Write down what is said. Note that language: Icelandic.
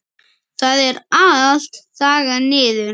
Það er allt þaggað niður.